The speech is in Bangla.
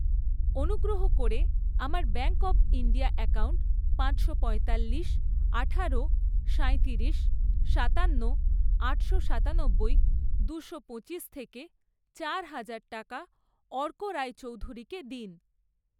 অনুগ্রহ করে আমার ব্যাঙ্ক অব ইন্ডিয়া অ্যাকাউন্ট পাঁচশো পঁয়তাল্লিশ, আঠারো, সাঁইতিরিশ, সাতান্ন, আটশো সাতানব্বই, দুশো পঁচিশ থেকে চার হাজার টাকা অর্ক রায়চৌধুরীকে দিন।